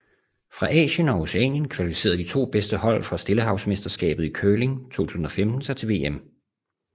Fra Asien og Oceanien kvalificerede de to bedste hold fra Stillehavsmesterskabet i curling 2015 sig til VM